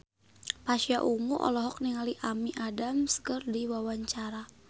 Pasha Ungu olohok ningali Amy Adams keur diwawancara